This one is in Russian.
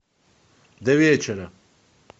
до вечера